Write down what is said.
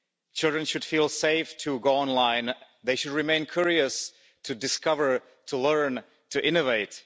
Children should feel safe to go online, they should remain curious to discover, to learn, to innovate.